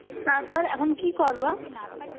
তারপর এখন কি করবা?